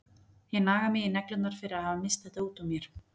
Ég naga mig í neglurnar fyrir að hafa misst þetta út úr mér.